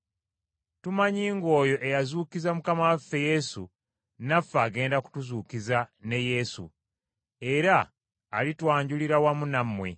Tumanyi ng’oyo eyazuukiza Mukama waffe Yesu, naffe agenda kutuzuukiza ne Yesu, era alitwanjulira wamu nammwe.